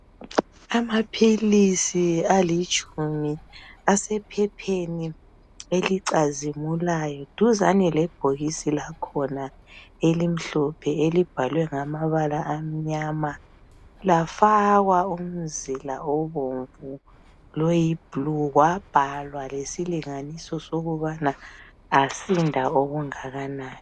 Amaphilisi alitshumi asephepheni elicazimulayo duzane lebhokisi lakhona elimhlophe elibhalwe ngamabala amnyama lafakwa umzila obomvu loyiblu kwabhalwa lesilinganiso sokubana asinda okungakanani